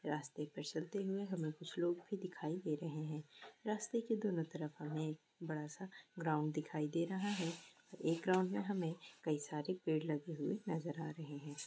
रास्ते पर चलते हुए हमें कुछ लोग भी दिखाई दे रहे हैं| रास्ते के दोनों तरफ हमें बड़ा-सा ग्राउंड दिखाई दे रहा है| एक ग्राउंड में हमें कई सारे पेड़ लगे हुए नजर आ रहे हैं।